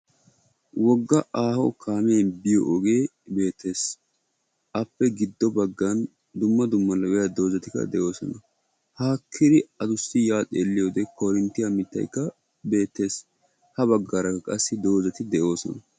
Wogga aaho kaamee biyo ogee beettees, appe giddo baggan dumma dumma lo'iya doozatikka de'oosona, haakkidi addussi yaa xeeliyode koorinttiya mitaykka beettees. Ha bagaarakka qassi doozati de'oosona.